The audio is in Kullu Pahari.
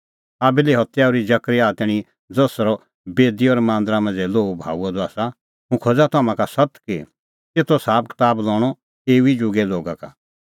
हाबिले हत्या ओर्ही जकरयाह तैणीं ज़सरअ बेदी और मांदरा मांझ़ै लोहू बहाऊअ द आसा हुंह खोज़ा तम्हां का सत्त कि तेतो साबकताब लणअ एऊ ई जुगे लोगा का